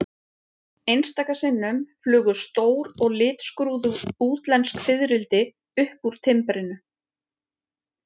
Einstaka sinnum flugu stór og litskrúðug útlensk fiðrildi upp úr timbrinu.